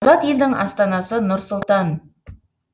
азат елдің астанасы нұр сұлтан